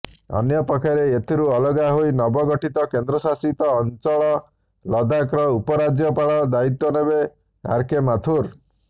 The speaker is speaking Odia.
ଅନ୍ୟପକ୍ଷରେ ଏଥିରୁ ଅଲଗା ହୋଇ ନବଗଠିତ କେନ୍ଦ୍ରଶାସିତ ଅଞ୍ଚଳ ଲଦାଖର ଉପରାଜ୍ୟପାଳ ଦାୟିତ୍ୱ ନେବେ ଆରକେ ମାଥୁର